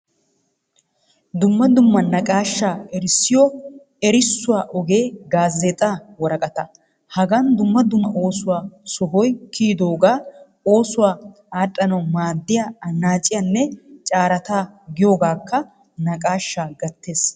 Dumma dumma naaqashshaa erissiyo erissuwaa ogee gaazeexxaa worqattaa. Hagaan dumma dumma oossuwaa sohoy kiyodoga, oossuwaa adhdhanawu maaddiyaa annaacciynne carataa giyogakka naqaashshaa gettees.